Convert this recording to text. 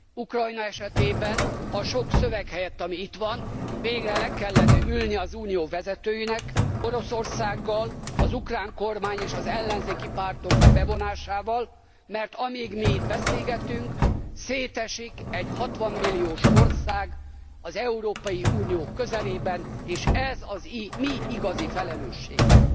Ukrajna esetében a sok szöveg helyett, ami itt van végre le kellene ülni az Unió vezetőinek Oroszországgal, az ukrán kormány és az ellenzéki pártok bevonásával, mert amíg mi itt beszélgetünk, szétesik egy 60 milliós ország az Európai Unió közelében és ez a mi igazi felelősségünk!